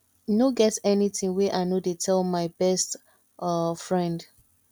e no get anything wey i no dey tell my best um friend